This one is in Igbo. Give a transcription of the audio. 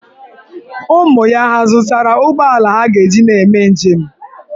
Ụmụ ya hà zụtara ụgbọala ha ga-eji na-eme njem?